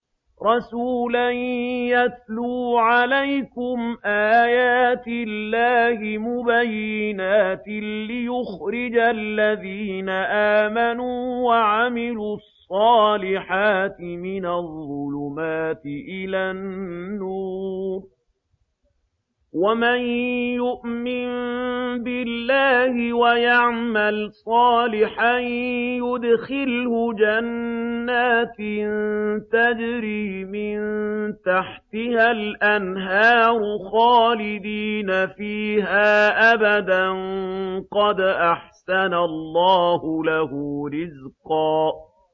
رَّسُولًا يَتْلُو عَلَيْكُمْ آيَاتِ اللَّهِ مُبَيِّنَاتٍ لِّيُخْرِجَ الَّذِينَ آمَنُوا وَعَمِلُوا الصَّالِحَاتِ مِنَ الظُّلُمَاتِ إِلَى النُّورِ ۚ وَمَن يُؤْمِن بِاللَّهِ وَيَعْمَلْ صَالِحًا يُدْخِلْهُ جَنَّاتٍ تَجْرِي مِن تَحْتِهَا الْأَنْهَارُ خَالِدِينَ فِيهَا أَبَدًا ۖ قَدْ أَحْسَنَ اللَّهُ لَهُ رِزْقًا